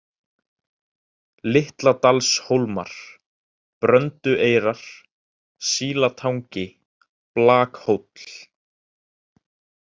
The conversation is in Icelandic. Litladalshólmar, Bröndueyrar, Sílatangi, Blakhóll